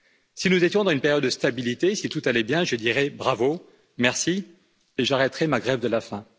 Si nous étions dans une période de stabilité, si tout allait bien, je dirais bravo, merci, et j'arrêterais ma grève de la faim.